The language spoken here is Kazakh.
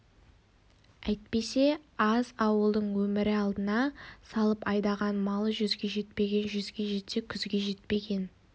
әйтпесе аз ауылдың өмірі алдына салып айдаған малы жүзге жетпеген жүзге жетсе күзге жетпеген